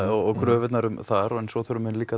og kröfurnar þar en svo þurfa þau líka